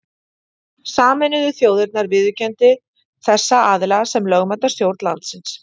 Sameinuðu þjóðirnar viðurkenndu þessa aðila sem lögmæta stjórn landsins.